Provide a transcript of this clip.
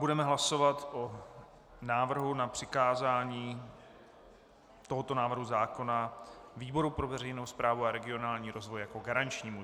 Budeme hlasovat o návrhu na přikázání tohoto návrhu zákona výboru pro veřejnou správu a regionální rozvoj jako garančnímu.